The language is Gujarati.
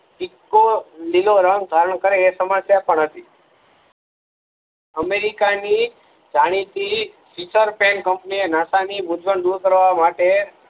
ઇકો લીલો રંગ ધારણ કરે એ સમસ્યા પણ હતી અમેરિકા ની જાણીતી કંપની નાસા ની મુજવણ દૂર કરવા માટે